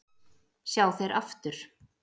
sjá þeir aftur